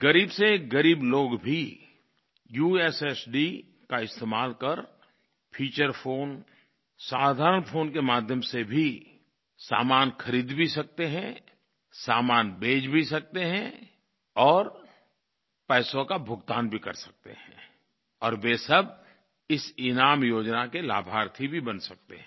ग़रीब से ग़रीब लोग भी यूएसएसडी का इस्तेमाल कर फीचर फोन साधारण फोन के माध्यम से भी सामान खरीद भी सकते हैं सामान बेच भी सकते हैं और पैसों का भुगतान भी कर सकते हैं और वे सब इस ईनाम योजना के लाभार्थी भी बन सकते हैं